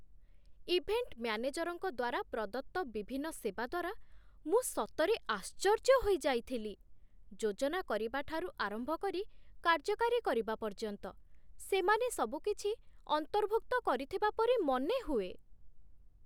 Event ମ୍ୟାନେଜରଙ୍କ ଦ୍ୱାରା ପ୍ରଦତ୍ତ ବିଭିନ୍ନ ସେବା ଦ୍ୱାରା ମୁଁ ସତରେ ଆଶ୍ଚର୍ଯ୍ୟ ହୋଇଯାଇଥିଲି, ଯୋଜନାକରିବା ଠାରୁ ଆରମ୍ଭ କରି କାର୍ଯ୍ୟକାରୀ କରିବା ପର୍ଯ୍ୟନ୍ତ, ସେମାନେ ସବୁକିଛି ଅନ୍ତର୍ଭୁକ୍ତ କରିଥିବା ପରି ମନେହୁଏ!